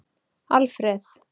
Alfreð